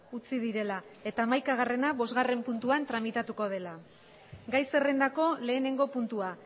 utzi direla eta amaikagarrena bostgarren puntuan tramitatukodela gai zerrendako lehenengo puntua